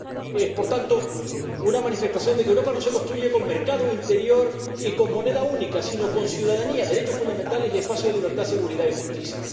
Es, por tanto, una manifestación de que Europa no se construye con mercado interior y con moneda única, sino con ciudadanía, derechos fundamentales y espacio de libertad, seguridad y justicia.